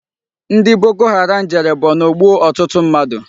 Ndi Boko Haram jere Borno gbuo otutu mmadu